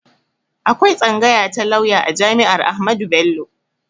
Akwai tsangaya ta lauya a jami'ar Ahmadu Bello